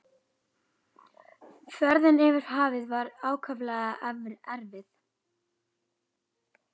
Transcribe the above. Ferðin yfir hafið var ákaflega erfið.